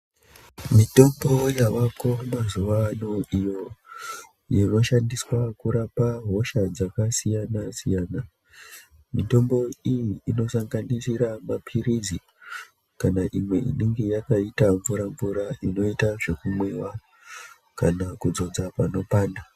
Mitombo yavako mazuwaano iyo inoshandiswa kurapa hosha dzakasiyana-siyana. Mitombo iyi inosanganisira maphirizi, kana imwe inenge yakaita mvura mvura inoita zvekumwiwa, kana kudzodza panopanda.